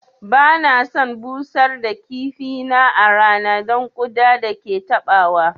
Ba na son busar da kifi na a rana don ƙuda da ke taɓawa